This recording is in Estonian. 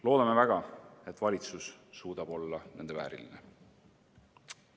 Loodame väga, et valitsus suudab olla nende vääriline.